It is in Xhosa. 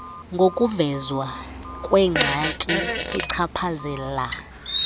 ngokuvezwa kwengxaki echaphazela